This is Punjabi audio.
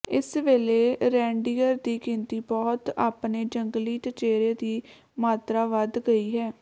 ਇਸ ਵੇਲੇ ਰੇਨਡੀਅਰ ਦੀ ਗਿਣਤੀ ਬਹੁਤ ਆਪਣੇ ਜੰਗਲੀ ਚਚੇਰੇ ਦੀ ਮਾਤਰਾ ਵਧ ਗਈ ਹੈ